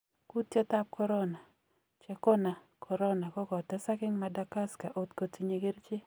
Kutyet ab corona:Chekona corona kokotesak eng Madagascar ot kotinye kerichek.